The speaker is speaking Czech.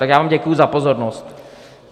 Tak já vám děkuji za pozornost.